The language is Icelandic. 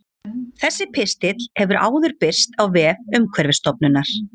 Þessi pistill hefur áður birst á vef Umhverfisstofnunar.